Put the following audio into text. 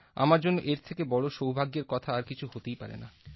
আমার জন্য এর থেকে বড় সৌভাগ্যের কথা আর কিছু হতে পারে না